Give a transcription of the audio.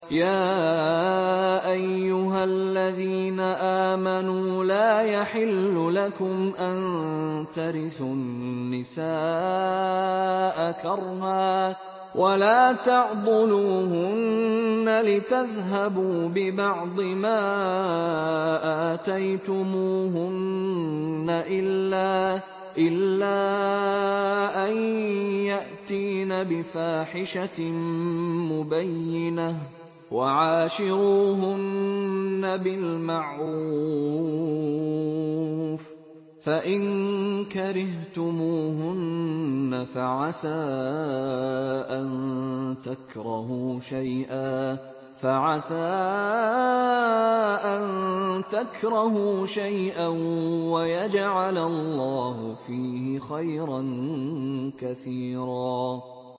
يَا أَيُّهَا الَّذِينَ آمَنُوا لَا يَحِلُّ لَكُمْ أَن تَرِثُوا النِّسَاءَ كَرْهًا ۖ وَلَا تَعْضُلُوهُنَّ لِتَذْهَبُوا بِبَعْضِ مَا آتَيْتُمُوهُنَّ إِلَّا أَن يَأْتِينَ بِفَاحِشَةٍ مُّبَيِّنَةٍ ۚ وَعَاشِرُوهُنَّ بِالْمَعْرُوفِ ۚ فَإِن كَرِهْتُمُوهُنَّ فَعَسَىٰ أَن تَكْرَهُوا شَيْئًا وَيَجْعَلَ اللَّهُ فِيهِ خَيْرًا كَثِيرًا